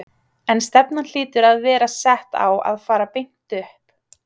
En stefnan hlýtur að vera sett á að fara beint upp?